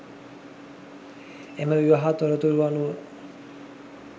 එම විවාහ තොරතුරු අනුව